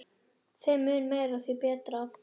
Þeim mun meira, því betra.